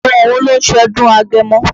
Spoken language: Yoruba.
Àwọn wo ló ń ṣọdún Agemọ?